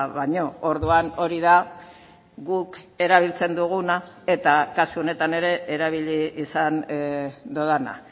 baino orduan hori da guk erabiltzen duguna eta kasu honetan ere erabili izan dudana